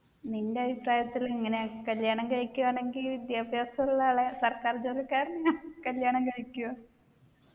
നിൻെറ അഭിപ്രായത്തിൽ എങ്ങനെ കല്യാണം കഴിക്കുയാണെങ്കിൽ വിദ്യാഭ്യാസമുള്ള ആളെ സർക്കാർ ജോലിക്കാരനെ കല്യാണം കഴിക്കുവൊ